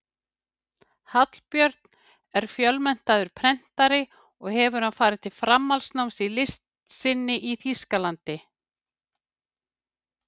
Hallbjörn er fjölmenntaður prentari og hefur farið til framhaldsnáms í list sinni í Þýskalandi.